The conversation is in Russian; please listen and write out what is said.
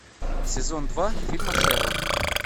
сезон два фильма шерлок